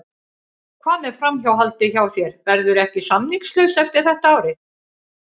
Hvað með framhaldið hjá þér, verðurðu ekki samningslaus eftir þetta ár?